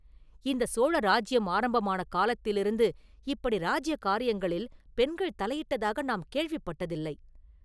இந்தச் சோழ ராஜ்யம் ஆரம்பமான காலத்திலிருந்து இப்படி இராஜ்ய காரியங்களில் பெண்கள் தலையிட்டதாக நாம் கேள்விப்பட்டதில்லை!